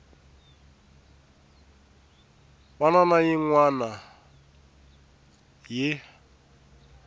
wana na yin wana yi